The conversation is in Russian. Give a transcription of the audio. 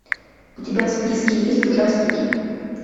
у тебя в списке есть ужастики